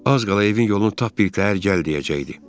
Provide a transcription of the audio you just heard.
Az qala evin yolunu tap bilikdə hər gəl deyəcəkdi.